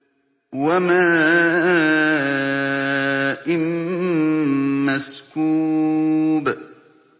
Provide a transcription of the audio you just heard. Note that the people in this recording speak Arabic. وَمَاءٍ مَّسْكُوبٍ